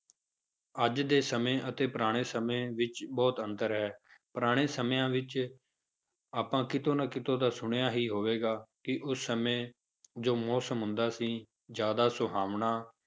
ਅੱਜ ਦੇ ਸਮੇਂ ਅਤੇ ਪੁਰਾਣੇ ਸਮੇਂ ਵਿੱਚ ਬਹੁਤ ਅੰਤਰ ਹੈ ਪੁਰਾਣੇ ਸਮਿਆਂ ਵਿੱਚ ਆਪਾਂ ਕਿਤੋਂ ਨਾ ਕਿਤੋਂ ਤਾਂ ਸੁਣਿਆ ਹੀ ਹੋਵੇਗਾ ਕਿ ਉਸ ਸਮੇਂ ਜੋ ਮੌਸਮ ਹੁੰਦਾ ਸੀ ਜ਼ਿਆਦਾ ਸੁਹਾਵਣਾ,